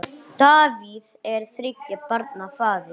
Davíð er þriggja barna faðir.